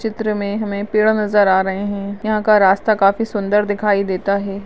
चित्र में हमे पेड़ नजर आ रहे है यहाँ का रास्ता काफी सुन्दर दिखाई देता है।